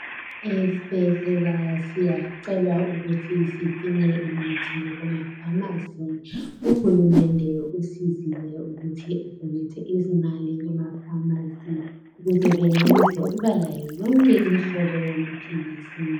Ezibhedlela siyacelwa ukuthi sidinge imithi kumaphamacy uhulumende usizile ukuthi adonater izimali kumaphamacy ukuze bemelise ukuba layo yonke imihlobo yamapills